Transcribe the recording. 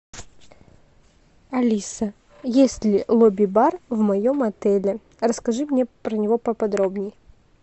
алиса есть ли лобби бар в моем отеле расскажи мне про него поподробней